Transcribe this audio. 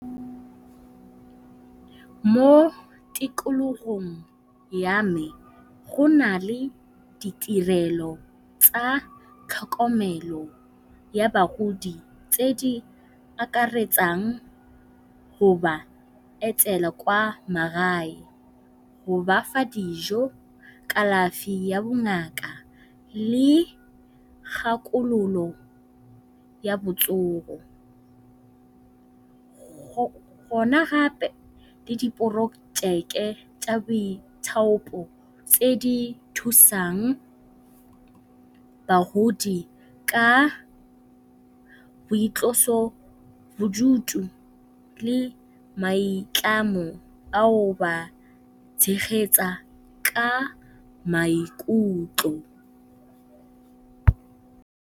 Mo tikologong ya me go na le ditirelo tsa tlhokomelo ya bagodi tse di akaretsang go ba etela kwa magae go bafa dijo, kalafi ya bongaka le kgakololo ya botsogo. Go na gape le diporojeke tsa boithaopo tse di thusang bagodi ka boitlosobodutu le maitlamo ao ba tshegetsa ka maikutlo.